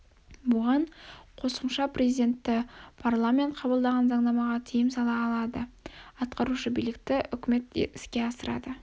бұған қосымша президенті парламенті қабылдаған заңнамаға тиым сала алады атқарушы билікті үкімет іске асырады